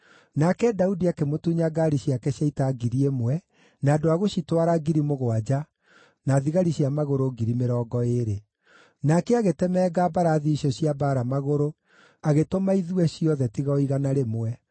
Nake Daudi akĩmũtunya ngaari ciake cia ita ngiri ĩmwe, na andũ a gũcitwara ngiri mũgwanja, na thigari cia magũrũ ngiri mĩrongo ĩĩrĩ. Nake agĩtemenga mbarathi icio cia mbaara magũrũ agĩtũma ithue ciothe tiga o igana rĩmwe.